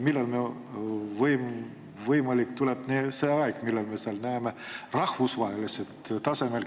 Millal on võimalik, et tuleb see aeg, kui me näeme seal rahvusvahelisel tasemel